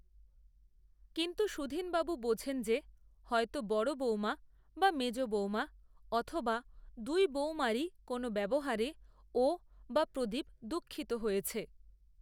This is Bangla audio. কিন্তু সুধীনবাবু বোঝেন যে, হয়তো বড় বৌমা বা মেজ বৌমা, অথবা দুই বৌমারই কোনো ব্যবহারে, ও, বা প্রদীপ দুঃখিত হয়েছে